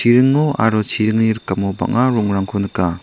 aro chiringni rikamo bang·a rongrangko nika.